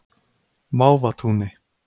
Mávatúni